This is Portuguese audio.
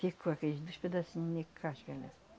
Ficou aqueles dois pedacinhos de casca.